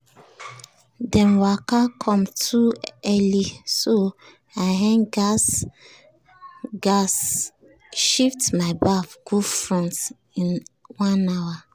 dem waka come too early so i um gas um gas shift my baff go front in one hour.